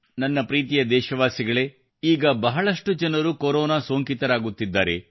ನಮ್ಮ ಪ್ರೀತಿಯ ದೇಶವಾಸಿಗಳೇ ಈಗ ಬಹಳಷ್ಟು ಜನರು ಕೊರೋನಾ ಸೋಂಕಿತರಾಗುತ್ತಿದ್ದಾರೆ